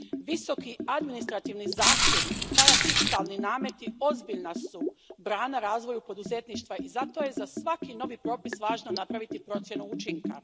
Visoki administrativni zahtjevi i parafiskalni nameti ozbiljna su brana razvoju poduzetništva i zato je za svaki novi propis važno napraviti procjenu učinka.